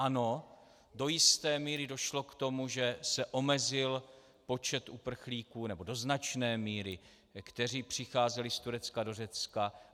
Ano, do jisté míry došlo k tomu, že se omezil počet uprchlíků, nebo do značné míry, kteří přicházeli z Turecka do Řecka.